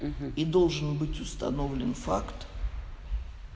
и должен быть установлен факт